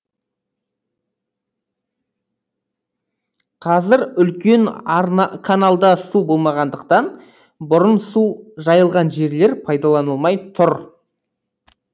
қазір үлкен каналда су болмағандықтан бұрын су жайылған жерлер пайдаланылмай тұр